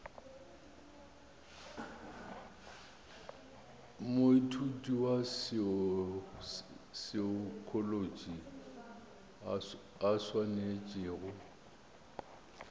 moithuti wa saekholotši a swanetšego